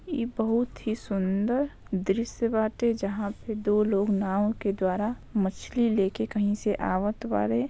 इ बहुत ही सुंदर दृश्य बाटे जहा पे दो लोग नाव के द्वारा मछली लेकर कहीं से आबत बारे।